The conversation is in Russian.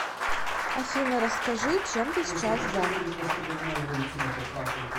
афина расскажи чем ты сейчас занят